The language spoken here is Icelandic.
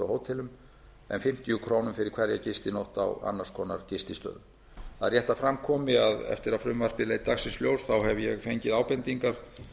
hótelum en fimmtíu krónur fyrir hverja gistinótt á annars konar gististöðum það er rétt að fram komi að eftir að frumvarpið leit dagsins ljós hef ég fengið ábendingar